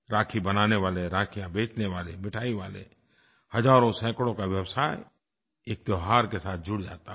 राखी बनाने वाले राखियाँ बेचने वाले मिठाई वाले हज़ारोंसैकड़ों का व्यवसाय एक त्योहार के साथ जुड़ जाता है